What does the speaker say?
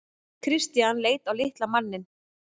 Christian leit á litla manninn.